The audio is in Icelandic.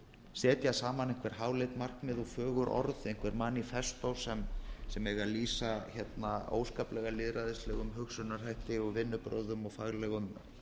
setja saman einhver háleit markmið og fögur orð einhver manifesto sem eiga að lýsa óskaplega lýðræðislegum hugsunarhætti vinnubrögðum og faglegum